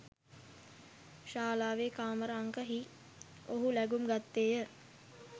ශාලාවේ කාමර අංක හි ඔහු ලැඟුම් ගත්තේය